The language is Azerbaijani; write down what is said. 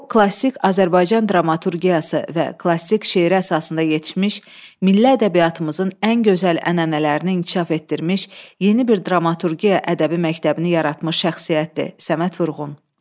O klassik Azərbaycan dramaturgiyası və klassik şeir əsasında yetişmiş, milli ədəbiyyatımızın ən gözəl ənənələrini inkişaf etdirmiş yeni bir dramaturgiya ədəbi məktəbini yaratmış şəxsiyyətdir, Səməd Vurğun.